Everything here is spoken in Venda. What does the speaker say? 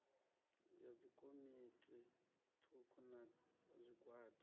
ya dzikomiti thukhu na zwigwada